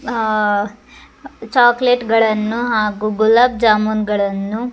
ಆಹ್ chocolate ಗಳನ್ನೂ ಹಾಗು ಗುಲಾಬ್ ಜಾಮೂನ್ಗಳನ್ನೂ --